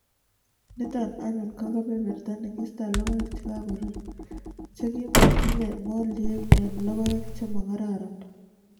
Niito anyun ko kebebert ne kistoe logoek che kagorur, che ki ma tinyei moldiek eng' logoek che ma kararan.